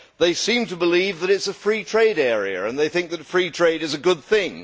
They seem to believe that it is a free trade area and they think that free trade is a good thing.